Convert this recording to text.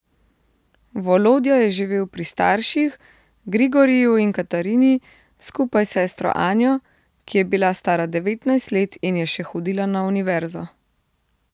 Volodja je živel pri starših, Grigoriju in Katarini, skupaj s sestro Anjo, ki je bila stara devetnajst let in je še hodila na univerzo.